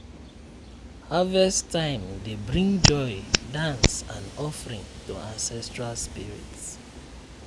harvest time dey bring joy dance and offering to ancestral spirit.